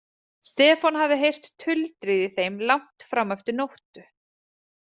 Stefán hafði heyrt tuldrið í þeim langt fram eftir nóttu.